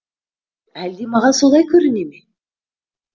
әлде маған солай көріне ме